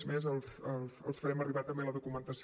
és més els farem arribar també la documentació